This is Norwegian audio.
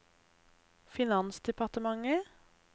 finansdepartementet